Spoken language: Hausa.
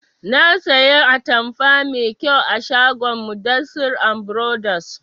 Na saya atamfa mai kyau a shagon mudassir and brothers